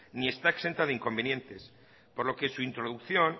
ni está exenta de inconvenientes por lo que su introducción